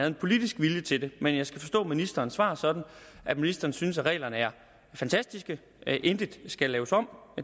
en politisk vilje til det men jeg skal forstå ministerens svar sådan at ministeren synes at reglerne er fantastiske intet skal laves om